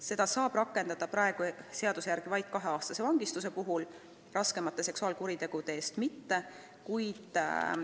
Seda saab rakendada praeguse seaduse järgi vaid kaheaastase vangistuse puhul, raskemate seksuaalkuritegude eest mitte.